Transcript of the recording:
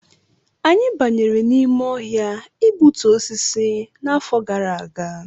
Anyị banyere n'ime ọhịa igbutu osisi n'afọ gara aga